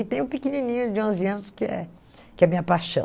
E tem o pequenininho de onze anos que é que é a minha paixão.